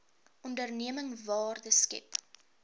onderneming waarde skep